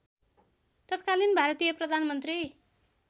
तत्कालीन भारतीय प्रधानमन्त्री